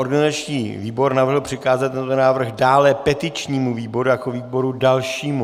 Organizační výbor navrhl přikázat tento návrh dále petičnímu výboru jako výboru dalšímu.